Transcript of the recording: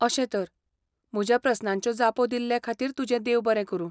अशें तर. म्हज्या प्रस्नांच्यो जापो दिल्लेखातीर तुजें देव बरें करूं.